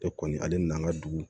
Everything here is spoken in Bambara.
E kɔni ale nan'an ka dugu